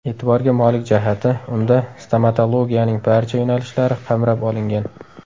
E’tiborga molik jihati, unda stomatologiyaning barcha yo‘nalishlari qamrab olingan.